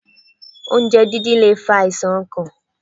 Oúnjẹ dídín lè fa àìsàn ọkàn.